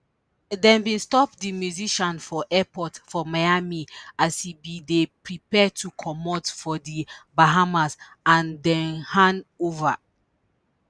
dem bin stop di musician for airport for miami as e bin dey prepare to comot for di bahamas and dem hand over